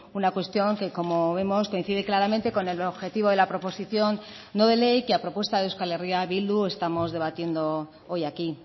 una cuestión que como vemos coincide claramente con el objetivo de la proposición no de ley que a propuesta de euskal herria bildu estamos debatiendo hoy aquí